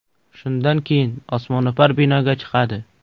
Shundan keyin osmono‘par binoga chiqadi.